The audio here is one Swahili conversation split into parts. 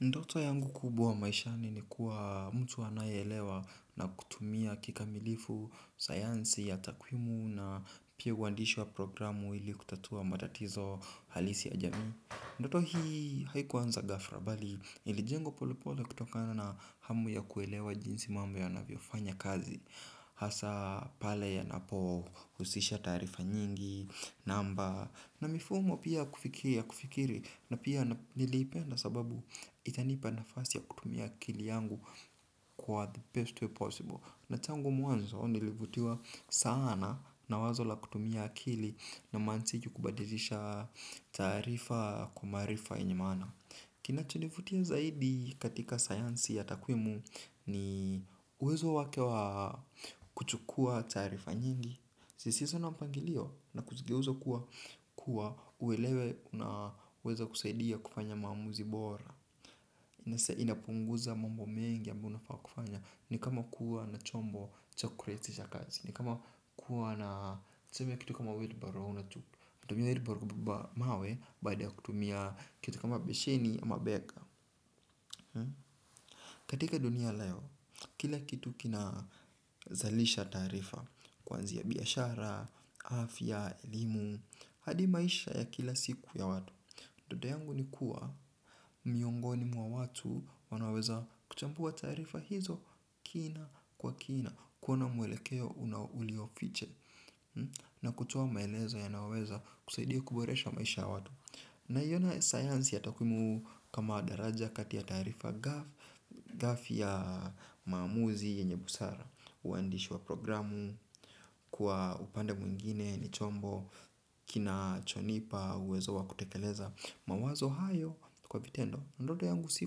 Ndoto yangu kubuwa maishani ni kuwa mtu anayelewa na kutumia kikamilifu, sayansi ya takwimu na pia uwandishi wa programu ili kutatua matatizo halisi ya jami. Ndoto hii haikuwanza gafra bali ilijengwa polepole kutokana na hamu ya kuelewa jinsi mambo yanaviofanya kazi. Hasa pale yanapo usisha tarifa nyingi, namba na mifumo pia kufikiri na pia nilipenda sababu itanipa nafasi ya kutumia akili yangu kwa the best way possible. Na tangu mwanzo nilivutiwa sana na wazo la kutumia akili na mantiki kubadilisha taarifa kwa maarifa yenye maana. Kinachonivutia zaidi katika sayansi ya takwimu ni uwezo wake wa kuchukua taarifa nyingi zisizona mpangilio na kuzigeuza kuwa uwelewe na uweza kusaidia kufanya maamuzi bora inapunguza mambo mengi ambayo unafaa kufanya. Ni kama kuwa na chombo cha kurahisisha kazi. Ni kama kuwa na tuseme kitu kama wheelbarrow unatumia wheelbarrow kubeba mawe baada ya kutumia kitu kama besheni ama bega. Katika dunia ya leo, kila kitu kina zalisha taarifa. Kuanzia biashara, afya, elimu hadi maisha ya kila siku ya watu ndoto yangu ni kuwa, miongoni mwa watu wanaoweza kuchambua taarifa hizo kina kwa kina. Kuona mwelekeo unaulio fiche. Na kutoa maelezo yanayoweza kusaidia kuboresha maisha ya watu. Naiona sayansi ya takwimu kama daraja kati ya taarifa gafi ya maumuzi yenye busara. Uhandishi wa programu kwa upande mwingine ni chombo kinachonipa uwezo wa kutekeleza mawazo hayo kwa vitendo. Ndoto yangu si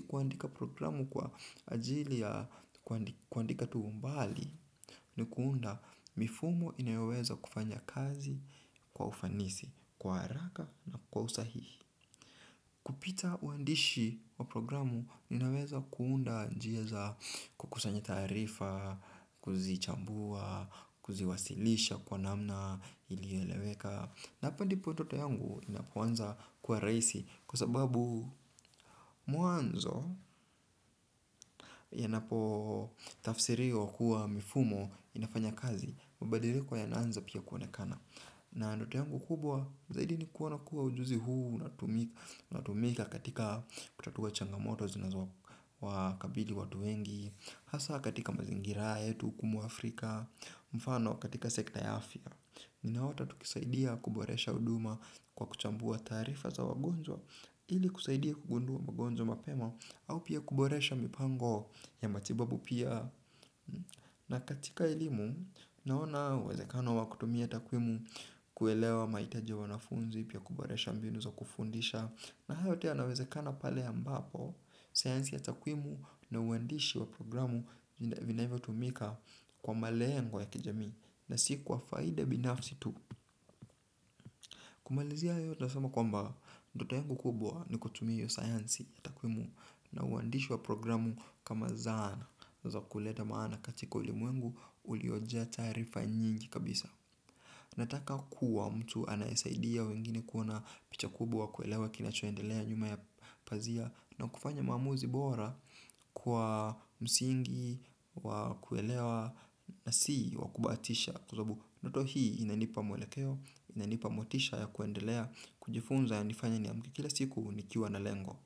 kuandika programu kwa ajili ya kuandika tuumbali ni kuunda mifumo inayoweza kufanya kazi kwa ufanisi, kwa haraka na kwa usahihi. Kupita uhandishi wa programu ninaweza kuunda njia za kukusanya taarifa, kuzichambua, kuziwasilisha kwa namna ilioeleweka. Na hapa ndipo ndoto yangu inapanza kuwa rahisi kwa sababu mwanzo yanapo tafsiriwa kuwa mifumo inafanya kazi. Mabadiliko yanaanza pia kuoenekana. Na ndoto yangu kubwa zaidi ni kuona kuwa ujuzi huu unatumika katika kutatua changamoto zinazo wakabili watu wengi. Hasa katika mazingira, haya yetu huku m Afrika, mfano katika sekta ya afya. Ninaota tukisaidia kuboresha huduma kwa kuchambua taarifa za wagonjwa ili kusaidia kugundua wagonjwa mapema au pia kuboresha mipango ya matibabu pia. Na katika elimu naona uwezekano wa kutumia takwimu kuelewa mahitaji ya wanafunzi pia kuboresha mbinu za kufundisha. Na hayo yote yanawezekana pale ambapo sayansi ya takwimu na uhandishi wa programu vinavyo tumika kwa malengo ya kijamii. Na si kwa faida binafsi tu. Kumalizia yote nasema kwamba ndoto yangu kubwa ni kutumia hiyo sayansi ya takwimu. Na ubandishi wa programu kama zana za kuleta maana katika ulimwengu uliojaa taarifa nyingi kabisa. Nataka kuwa mtu anayesaidia wengine kuona picha kubwa wa kuelewa kinachoendelea nyuma ya pazia. Na kufanya mamuuzi bora kwa msingi wa kuelewa na si wa kubahatisha. Kwa sababu ndoto hii inanipa mwelekeo inanipa motisha ya kuendelea kujifunza ya nanifanya niamke kila siku nikiwa na lengo.